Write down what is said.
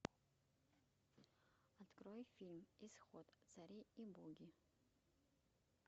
открой фильм исход цари и боги